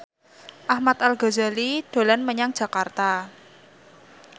Ahmad Al Ghazali dolan menyang Jakarta